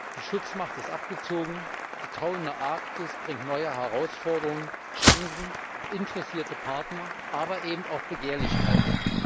Die Schutzmacht ist abgezogen, die tauende Arktis bringt neue Herausforderungen, Chancen, interessierte Partner, aber eben auch Begehrlichkeiten.